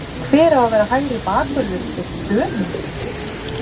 Hver á að vera hægri bakvörður gegn Dönum?